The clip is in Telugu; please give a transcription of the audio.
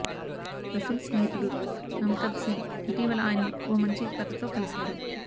రసూల్ స్నేహితుడు అమితాబ్సింగ్ ఇటీవల ఆయన్ను ఓ మంచి కథతో కలిశారు